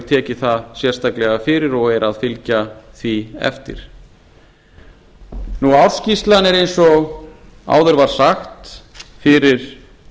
tekið það sérstaklega fyrir og er að fylgja því eftir ársskýrslan er eins og áður var sagt fyrir